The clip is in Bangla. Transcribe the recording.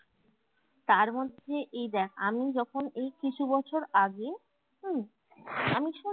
তার মধ্যে এই দ্যাখ আমি যখন এই কিছু বছর আগে উম আমি